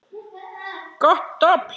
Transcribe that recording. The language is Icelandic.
Gott dobl.